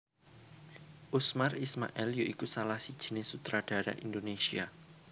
Usmar Ismail ya iku salah sijiné sutradara Indonésia